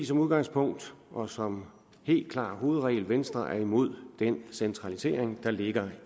som udgangspunkt og som helt klar hovedregel er venstre imod den centralisering der ligger